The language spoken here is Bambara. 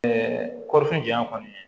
kɔɔri janya kɔni